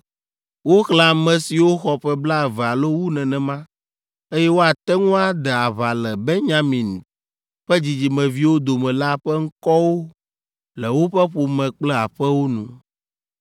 Woxlẽ ame siwo xɔ ƒe blaeve alo wu nenema, eye woate ŋu ade aʋa le Benyamin ƒe dzidzimeviwo dome la ƒe ŋkɔwo le woƒe ƒome kple aƒewo nu.